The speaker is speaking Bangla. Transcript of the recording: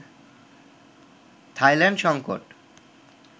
থাইল্যান্ড সংকট